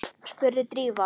spurði Drífa.